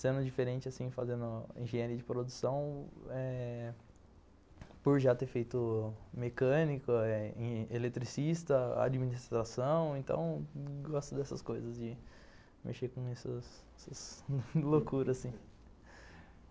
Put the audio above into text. Sendo diferente, assim, fazendo engenharia de produção eh, por já ter feito mecânico, eletricista, administração, então gosto dessas coisas, de mexer com essas essas loucuras assim.